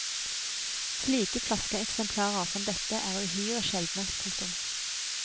Slike flaskeeksemplarer som dette er uhyre sjeldne. punktum